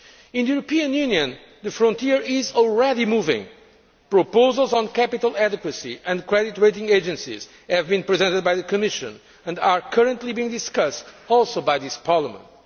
In the European Union, the frontier is already moving proposals on capital adequacy and credit rating agencies have been presented by the Commission and are currently being discussed also by this Parliament.